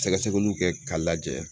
Sɛgɛsɛgɛliw kɛ k'a lajɛ